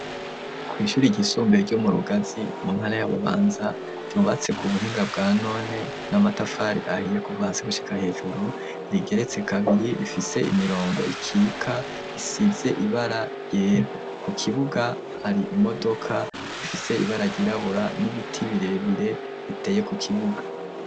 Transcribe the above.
Kw'ishuri ryisumbuye, ryo mu Rugazi, mu ntara ya Bubanza, ryubatse ku buhinga bwa none, n'amatafari ahiye, kuva hasi gushika hejuru, rigeretse kabiri, rifise imirongo ikika, isize ibara ryera; ku kibuga, hari imodoka, ifise ibara ryirabura, n'ibiti birebire, biteye ku kibuga.